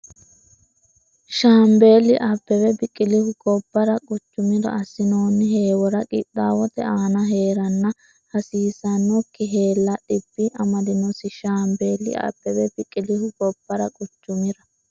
Shaambeli Abbebe Biqilihu gobbara quchumira assinoonni heewora qixxaawote aana hee’reenna hasiis- sannokki hellee dhibbi amadinosi Shaambeli Abbebe Biqilihu gobbara quchumira.